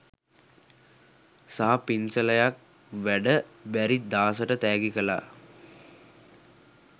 සහ පින්සලයක් වැඩ බැරි දාසට තෑගි කලා.